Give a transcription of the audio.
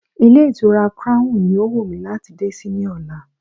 Ilé ìtura crown ni ó wù mí láti dé sí ní ọ̀la.